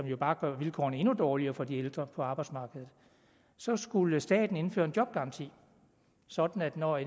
jo bare gør vilkårene endnu dårligere for de ældre på arbejdsmarkedet så skulle staten indføre en jobgaranti sådan at når